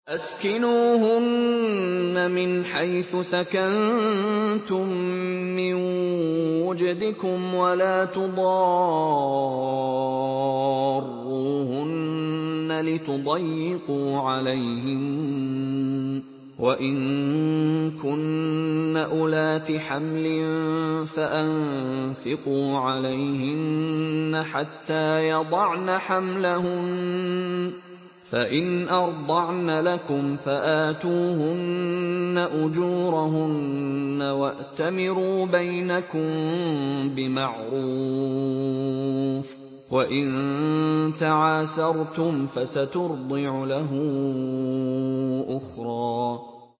أَسْكِنُوهُنَّ مِنْ حَيْثُ سَكَنتُم مِّن وُجْدِكُمْ وَلَا تُضَارُّوهُنَّ لِتُضَيِّقُوا عَلَيْهِنَّ ۚ وَإِن كُنَّ أُولَاتِ حَمْلٍ فَأَنفِقُوا عَلَيْهِنَّ حَتَّىٰ يَضَعْنَ حَمْلَهُنَّ ۚ فَإِنْ أَرْضَعْنَ لَكُمْ فَآتُوهُنَّ أُجُورَهُنَّ ۖ وَأْتَمِرُوا بَيْنَكُم بِمَعْرُوفٍ ۖ وَإِن تَعَاسَرْتُمْ فَسَتُرْضِعُ لَهُ أُخْرَىٰ